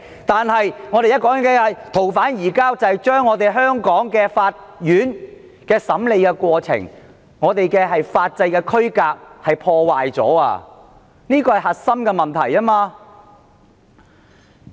但我們現在說的逃犯移交安排卻非由香港法院審理，因而破壞了我們的法制區隔，這是核心問題。